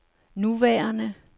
nuværende